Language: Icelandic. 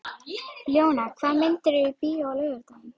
Ljóney, hvaða myndir eru í bíó á laugardaginn?